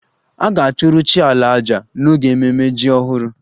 A ga-achụrụ chi 'ala' àjà n'oge ememme jim ọhụrụ